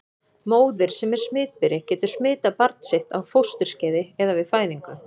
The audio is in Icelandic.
Móðir sem er smitberi getur smitað barn sitt á fósturskeiði eða við fæðingu.